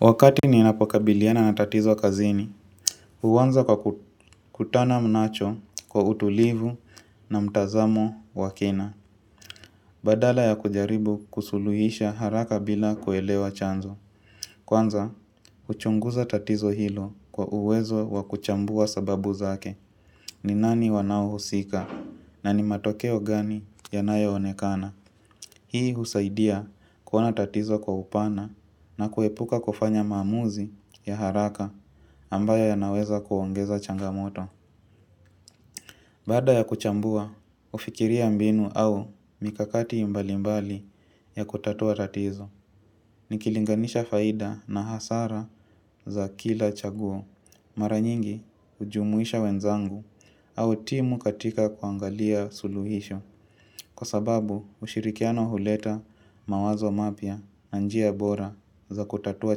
Wakati ninapokabiliana na tatizo kazini, uwanza kwa kutana nacho kwa utulivu na mtazamo wakina. Badala ya kujaribu kusuluhisha haraka bila kuelewa chanzo kwanza, uchunguza tatizo hilo kwa uwezo wa kuchambua sababu zake. Ni nani wanao husika na ni matokeo gani yanayo onekana. Hii husaidia kuona tatizo kwa upana na kuepuka kufanya maamuzi ya haraka. Ambayo yanaweza kuongeza changamoto. Baada ya kuchambua, ufikiria mbinu au mikakati imbalimbali ya kutatua tatizo. Nikilinganisha faida na hasara za kila chaguo. Mara nyingi ujumuisha wenzangu au timu katika kuangalia suluhisho. Kwa sababu, ushirikiano huleta mawazo mapya na njia bora za kutatua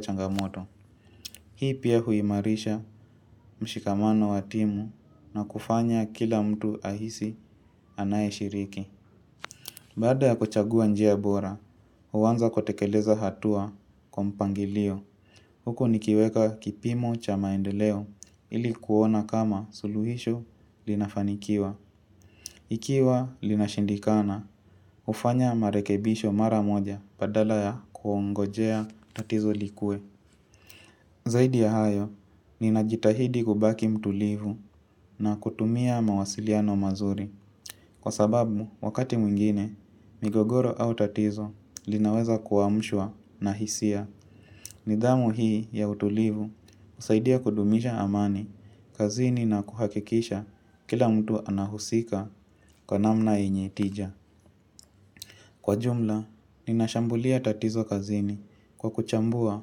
changamoto. Hii pia huimarisha mshikamano watimu na kufanya kila mtu ahisi anaye shiriki. Baada ya kuchagua njia bora, uwanza kutekeleza hatua kwa mpangilio. Huku nikiweka kipimo cha maendeleo ili kuona kama suluhisho linafanikiwa. Ikiwa linashindikana, ufanya marekebisho mara moja badala ya kuongojea tatizo likue. Zaidi ya hayo, ninajitahidi kubaki mtulivu na kutumia mawasiliano mazuri. Kwa sababu, wakati mwingine, migogoro au tatizo linaweza kuamshwa na hisia. Nidhamu hii ya utulivu, usaidia kudumisha amani, kazini na kuhakikisha kila mtu anahusika kwa namna enyetija. Kwa jumla ninashambulia tatizo kazini kwa kuchambua,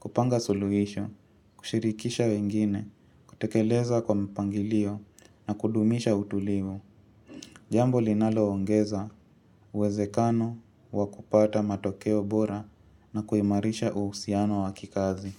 kupanga suluhisho, kushirikisha wengine, kutekeleza kwa mpangilio na kudumisha utulivu. Jambo linalo ongeza uwezekano wa kupata matokeo bora na kuimarisha uhusiano wa kikazi.